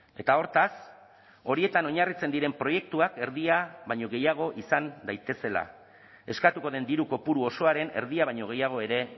eta hortaz horietan oinarritzen diren proiektuak erdia baino gehiago izan daitezela eskatuko den diru kopuru osoaren erdia baino gehiago ere